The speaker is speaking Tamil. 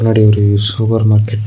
முன்னாடி ஒரு சூப்பர் மார்க்கெட் .